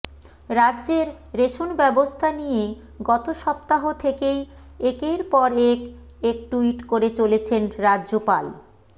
রাজ্যের রেশন ব্যবস্থা নিয়ে গত সপ্তাহ থেকেই একের পর এক এক টুইট করে চলেছেন রাজ্যপাল